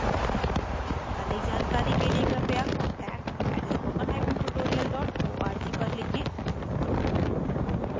अधिक जानकारी के लिए कृपया: contact @spokentutorial org पर लिखें